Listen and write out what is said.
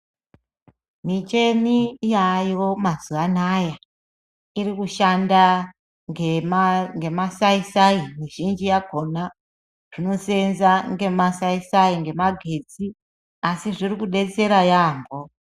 Micheni yaayo mazuwanaya irikushanda ngemasaisai mizhinji yakona zvinoseenza ngemasaisai, ngemagatsi asi zvirikudetsera yambo.